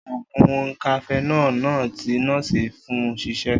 Oògùn cafenol náà ti nọ́ọ́sì fún ṣiṣẹ